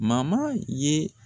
ye